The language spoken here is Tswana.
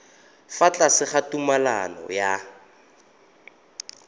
fa tlase ga tumalano ya